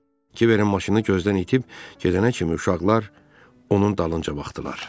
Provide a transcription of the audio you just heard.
Kiberin maşını gözdən itib gedənə kimi uşaqlar onun dalınca baxdılar.